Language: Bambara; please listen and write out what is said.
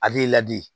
Ale ladi